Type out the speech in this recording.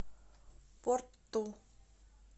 порту